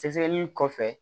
Sɛgɛsɛgɛli in kɔfɛ